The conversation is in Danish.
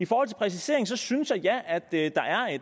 præciseringen synes jeg jeg at der er et